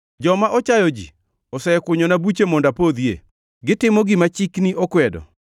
Joma ochayo ji osekunyona buche mondo apodhie, gitimo gima chikni okwedo.